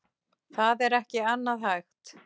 Það er ekki annað hægt.